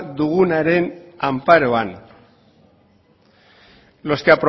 dugunaren anparoan